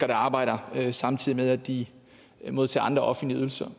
der arbejder samtidig med at de modtager andre offentlige ydelser